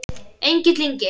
Egill Ingi.